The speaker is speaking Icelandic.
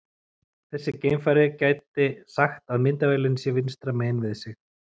Þessi geimfari gæti sagt að myndavélin sé vinstra megin við sig.